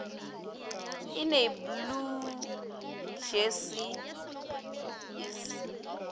in a blue jersey is